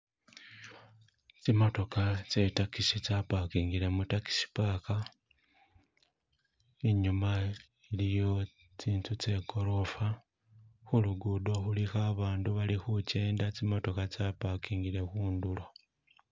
Tsimotokha tse taxi tsa pakingile mu taxi park inyuma iliyo tsinzu tse golofa, khulugudo khulikho abandu bali khujenda tsimotoha tsapakingile khundulo.